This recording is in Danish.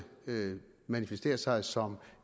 manifestere sig som